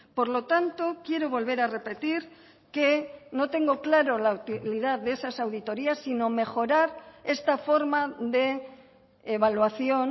por lo tanto quiero volver a repetir que no tengo claro la utilidad de esas auditorías sino mejorar esta forma de evaluación